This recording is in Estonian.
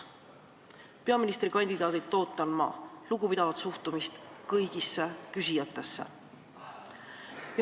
Peaministrikandidaadilt ootan ma lugupidavat suhtumist kõigisse küsijatesse.